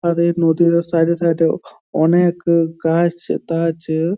আর এর নদীর সাইড -এ সাইড -এ অনেক গাছটাছ --